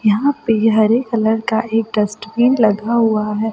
यहां पे हरे कलर का एक डस्टबीन लगा हुआ है।